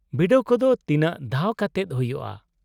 -ᱵᱤᱰᱟᱹᱣ ᱠᱚᱫᱚ ᱛᱤᱱᱟᱹᱜ ᱫᱷᱟᱣ ᱠᱟᱛᱮᱫ ᱦᱩᱭᱩᱜᱼᱟ ?